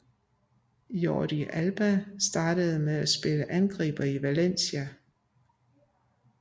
Jordi Alba startede med at spille angriber i Valencia